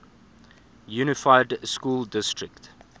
unified school district